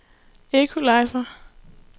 equalizer